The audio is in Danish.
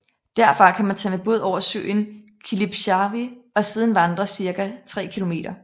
Derfra kan man tage med båd over søen Kilpisjärvi og siden vandre cirka 3 km